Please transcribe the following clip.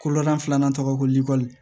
Kolonda filanan tɔgɔ ko likɔli